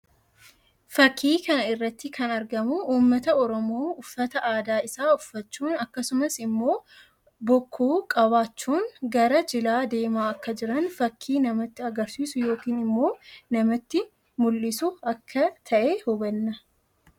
Fakkii kana irratti kan argamu uummata Oromoo uffata aadaa isaa uffachuun akkasumas immoo bokkuu qabachuun gara jilaa deemaa akka jiran fakkii namatti agrsiisuu yookiin immoo namatti mullisu akka tahe hubanna.